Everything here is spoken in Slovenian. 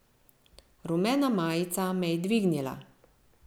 Rumena majica me je dvignila.